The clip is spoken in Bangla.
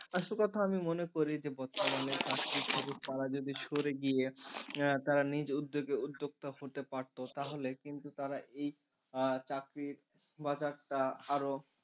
আসল কথা আমি মনে করি যে বর্তমানে চাকরির খবর তারা যদি সরে গিয়ে তারা নিজ উদ্যোগে উদ্যোক্তা হতে পারতো তাহলে কিন্তু তারা এই চাকরির বাজারটা আরও,